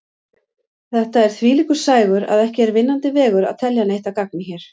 Þetta er þvílíkur sægur að ekki er vinnandi vegur að telja neitt að gagni hér.